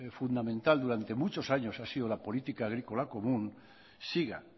durante muchos años ha sido la política agrícola común siga